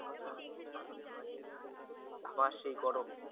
আবার সেই গরম।